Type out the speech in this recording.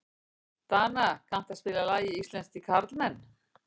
Dana, kanntu að spila lagið „Íslenskir karlmenn“?